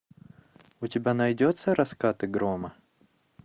у тебя найдется раскаты грома